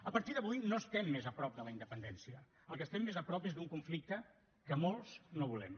a partir d’avui no estem més a prop de la independència del que estem més a prop és d’un conflicte que molts no volem